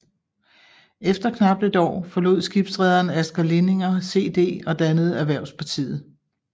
Efter knap et år forlod skibsrederen Asger Lindinger CD og dannede Erhvervspartiet